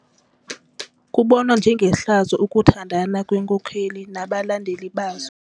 Kubonwa njengehlazo ukuthandana kweenkokeli nabalandeli bazo.